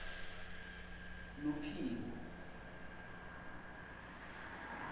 luphiko